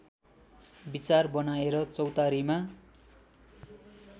विचार बनाएर चौतारीमा